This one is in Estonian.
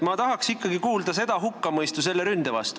Ma tahaks ikkagi kuulda selle ründe hukkamõistu.